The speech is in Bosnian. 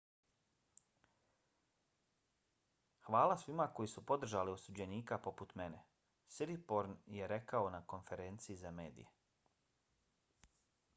hvala svima koji su podržali osuđenika poput mene siriporn je rekao na konferenciji za mediji.